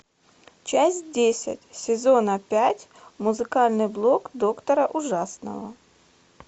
часть десять сезона пять музыкальный блог доктора ужасного